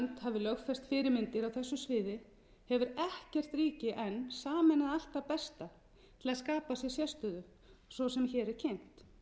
lögfest fyrirmyndir á þessu sviði hefur ekkert ríki enn sameinað allt það besta til að skapa sér sérstöðu svo sem sem hér er kynnt